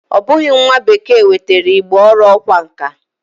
O bughi nwa bekee nwetara Igbo oru okwa nka.